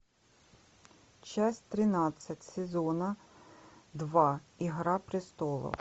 часть тринадцать сезона два игра престолов